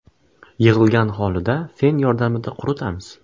Yig‘ilgan holida fen yordamida quritamiz.